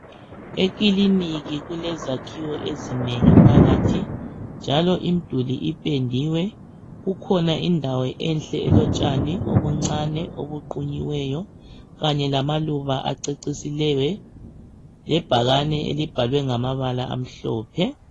Ekliniki kulezakhiwo ezinengi phakathi njalo imduli ipendiwe kukhona indawo enhle elotshani obuncane obuqhunyiweyo kanye lamaluba acecisiweyo lebhakane elibhalwe ngamabala amhlophe.